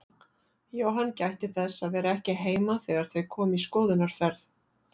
Jóhann gætti þess að vera ekki heima þegar þau komu í skoðunarferð.